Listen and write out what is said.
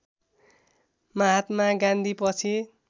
महात्मा गान्धी पछि